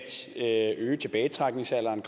øge tilbagetrækningsalderen